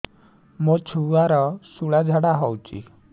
ମୋ ଛୁଆର ସୁଳା ଝାଡ଼ା ହଉଚି